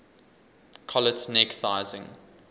collet neck sizing